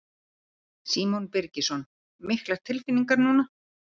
Símon Birgisson: Miklar tilfinningar núna?